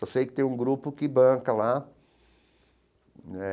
Só sei que tem um grupo que banca lá né.